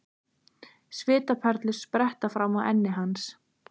Svitaperlur spretta fram á enni hans.